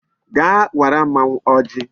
Gaa wara mmanwu ojii